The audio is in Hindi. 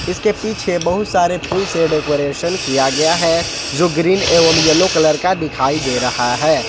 इसके पीछे बहुत सारे फूल से डेकोरेशन किया गया है जो ग्रीन एवं येलो कलर का दिखाई दे रहा है।